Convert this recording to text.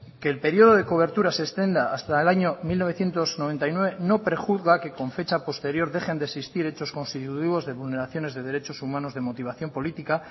que el periodo de cobertura se extienda hasta el año mil novecientos noventa y nueve no prejuzga que con fecha posterior dejen de existir hechos constitutivos de vulneraciones de derechos humanos de motivación política